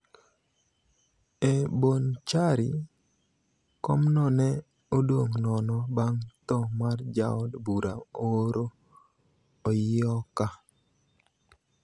E Bonchari, komno ne odong' nono bang' tho mar jaod bura Oroo Oyioka.